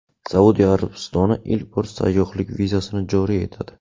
Saudiya Arabistoni ilk bor sayyohlik vizasini joriy etadi.